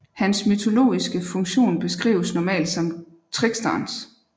Hans mytologiske funktion beskrives normalt som tricksterens